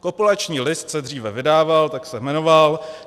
Kopulační list se dříve vydával, tak se jmenoval.